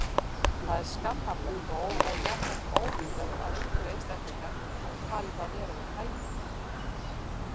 Það er skammarlegt og jafnframt ótrúlegt að einhverjir einstaklingar hafi talið það vera við hæfi.